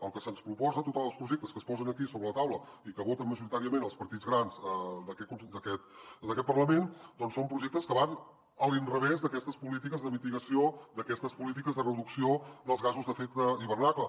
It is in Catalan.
el que se’ns proposa tots els projectes que es posen aquí sobre la taula i que voten majoritàriament els partits grans d’aquest parlament doncs són projectes que van a l’inrevés d’aquestes polítiques de mitigació d’aquestes polítiques de reducció dels gasos d’efecte hivernacle